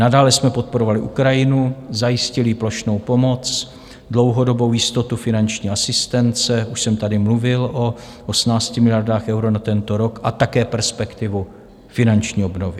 Nadále jsme podporovali Ukrajinu, zajistili jí plošnou pomoc, dlouhodobou jistotu finanční asistence, už jsem tady mluvil o 18 miliardách eur na tento rok, a také perspektivu finanční obnovy.